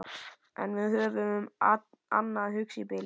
En við höfðum um annað að hugsa í bili.